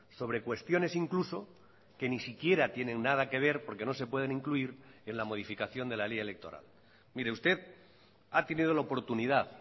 sobre cuestiones incluso que ni siquiera tienen nada que ver porque no se pueden incluir en la modificación de la ley electoral mire usted ha tenido la oportunidad